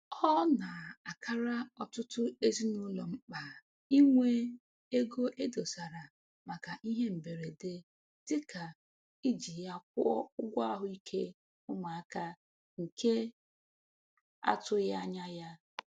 Ọ na-akara ọtụtụ ezinụlọ mkpa inwe ego e dosara maka ihe mberede dịka iji ya kwụọ ụgwọ ahụike ụmụaka nke a tụghịanya ya